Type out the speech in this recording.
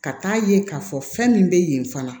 Ka taa ye k'a fɔ fɛn min bɛ yen fana